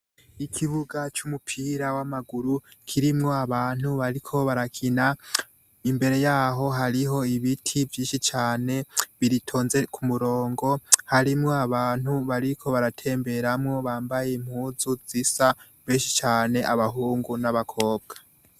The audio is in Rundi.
Ikibuga c’umupira w’amaguru kirimwo abantu bariko barakina, imbere yaho hariho ibiti vyinshi cane bitonze kumurongo harimwo abantu bariko baratemberamwo bambaye impuzu zisa benshi cane abahungu n’abakobwa.